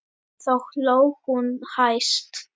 Þá hló hún hæst.